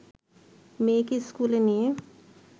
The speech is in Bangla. মেয়েকে স্কুলে নিয়ে